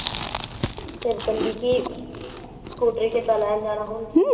ਫਿਰ ਕਹਿੰਦੀ ਕੀ ਸਕੂਟਰੀ ਕਿੱਦਾ ਲੈਣ ਜਾਣਾ ਹੁਣ।